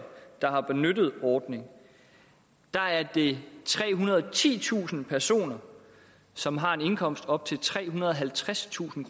der har benyttet ordningen er det trehundrede og titusind personer som har en indkomst op til trehundrede og halvtredstusind